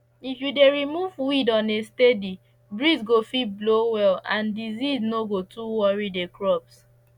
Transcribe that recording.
if you you dey remove weed on a steady breeze go fit blow well and disease no go too worry the crops